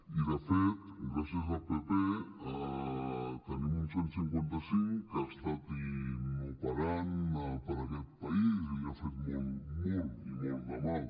i de fet gràcies al pp tenim un cent i cinquanta cinc que ha estat inoperant per a aquest país i li ha fet molt i molt de mal